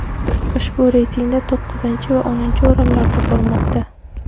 Ushbu reytingda to‘qqizinchi va o‘ninchi o‘rinlarda bormoqda.